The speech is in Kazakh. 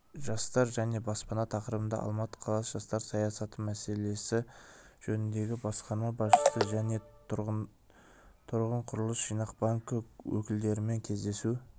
жастар және баспана тақырыбында алматы қаласы жастар саясаты мәселелері жөніндегі басқарма басшысы және тұрғынүйқұрылысжинақбанкі өкілдерімен кездесу